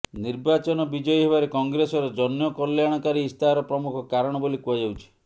ନିର୍ବାଚନ ବିଜୟୀ ହେବାରେ କଂଗ୍ରେସର ଜନକଲ୍ୟାଣକାରୀ ଇସ୍ତାହାର ପ୍ରମୁଖ କାରଣ ବୋଲି କୁହାଯାଉଛି